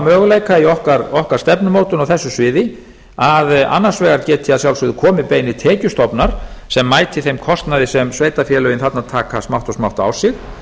möguleika í okkar stefnumótun á þessu sviði að annars vegar geti að sjálfsögðu komið beinir tekjustofnar sem mæti þeim kostnaði sem sveitarfélögin þarna taka smátt og smátt á sig